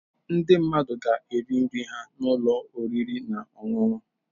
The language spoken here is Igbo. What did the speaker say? Ndị mmadụ ga-eri nri ha na ụlọ oriri na ọṅụṅụ.